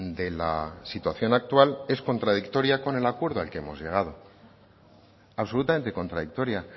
de la situación actual es contradictoria con el acuerdo al que hemos llegado absolutamente contradictoria